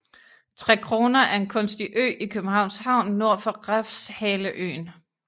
Trekroner er en kunstig ø i Københavns Havn nord for Refshaleøen